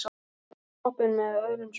Sléttið toppinn með stórum spaða.